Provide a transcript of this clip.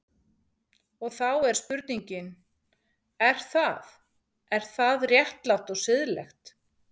Og þá er spurningin, er það, er það réttlátt og siðlegt?